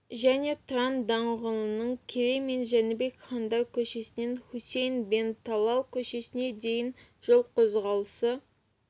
және тұран даңғылының керей мен жәнібек хандар көшесінен хусейн бен талал көшесіне дейін жол қозғалысы